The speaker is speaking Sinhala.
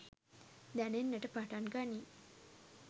දැනෙන්නට පටන් ගනී